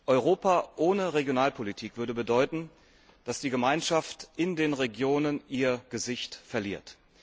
Europa ohne Regionalpolitik würde bedeuten, dass die Gemeinschaft in den Regionen ihr Gesicht verliert.